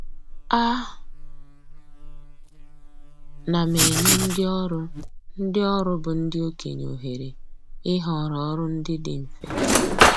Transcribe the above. A na m enye ndị ọrụ ndị ọrụ bụ ndị okenye ohere ịhọrọ ọrụ ndị dị mfe